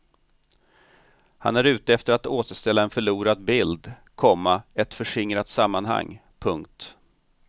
Han är ute efter att återställa en förlorad bild, komma ett förskingrat sammanhang. punkt